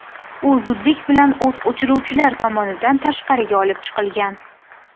U zudlik bilan o‘t o‘chiruvchilar tomonidan tashqariga olib chiqilgan.